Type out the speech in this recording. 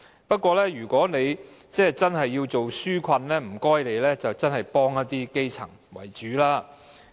不過，如果政府真的要推行紓困措施，請政府以幫助基層為主。